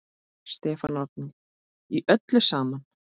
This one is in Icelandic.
Stefán Árni: Í öllu saman?